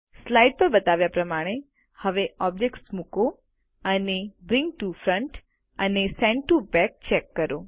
slides પર બતાવ્યા પ્રમાણે હવે ઓબ્જેક્ટ મુકો અને બ્રિંગ ટીઓ ફ્રન્ટ અને સેન્ટ ટીઓ બેક ચેક કરો